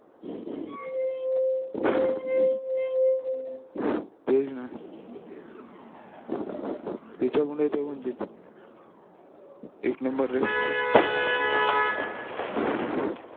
तेच ना त्याचा मुळे ते म्हणले एक नंबर रे